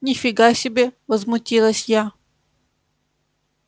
ни фига себе возмутилась я